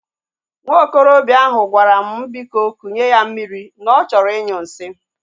Nwa okorobịa ahụ gwara m mụ biko kunye ya mmiri na ọ chọrọ inyu nsị